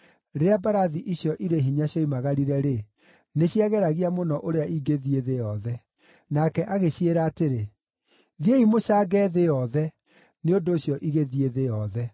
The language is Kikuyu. Rĩrĩa mbarathi icio irĩ hinya cioimagarire-rĩ, nĩciageragia mũno ũrĩa ingĩthiĩ thĩ yothe. Nake agĩciĩra atĩrĩ, “Thiĩi mũcange thĩ yothe!” Nĩ ũndũ ũcio igĩthiĩ thĩ yothe.